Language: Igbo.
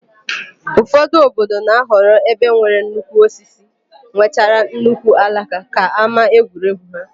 Ụfọdụ obodo na-ahọrọ ebe nwere nnukwu osisi nwechara nnukwu alaka ka ámáegwuregwu ha.